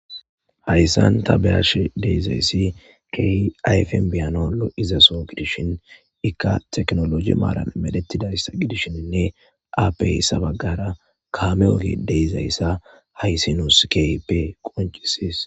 hayssan ta beyash deezayssi key ayfen biyanaw lo'izaso gidishin ikka teknoloji maarane medettidayssa gidishshininne aappey sabaggara kame oge deizayssa haysi nuus keyppe qoncisies